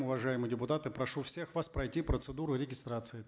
уважаемые депутаты прошу всех вас пройти процедуру регистрации